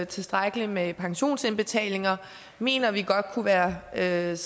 tilstrækkelig med pensionsindbetalinger mener vi godt kunne være lavet